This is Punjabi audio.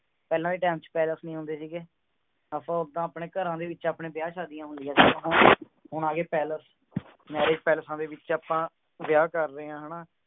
ਪਹਲਾ ਦੇ time ਚ palace ਨਹੀਂ ਹੁੰਦੇ ਸੀਗੇ ਅਪਾ ਓਦਾ ਅਪਨੇ ਕਰ ਦੇ ਵਿਚ ਅਪਨੇ ਬਿਹਾ ਸਹਦਿਆ ਹੁੰਦੀਆਂ ਸੇ ਹੋਣ ਆ ਗਏ palace ਨਾਲ ਹੀ palace ਦੇ ਵਿਚ ਆਪਾਂ ਵਿਆਹ ਕਰ ਰਹੇ ਹਾਂ ਹੈ ਨਾ